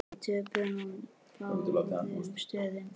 Við töpuðum á báðum stöðum.